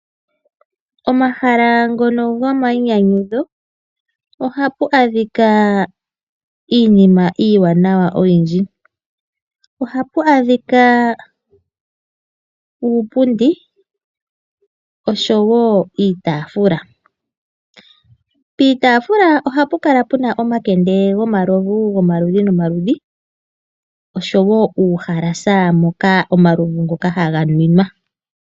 Omahala ngono gomainyanyudho ohapu adhika iinima iiwanawa oyindji. Ohapu adhika uupundi oshowo iitafula. Piitaafula oha pu kala pu na omakende gomaludhi nomaludhi, oshowo uuhalasa moka omalovu ngoka haga nwinwa.